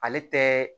Ale tɛ